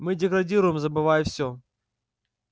мы деградируем забывая всё